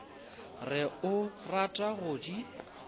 re o rata go di